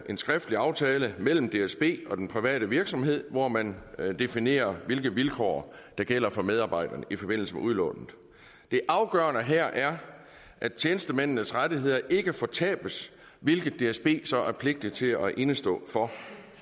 en skriftlig aftale mellem dsb og den private virksomhed hvor man definerer hvilke vilkår der gælder for medarbejderne i forbindelse med udlånet det afgørende her er at tjenestemændenes rettigheder ikke fortabes hvilket dsb så er pligtig til at indestå for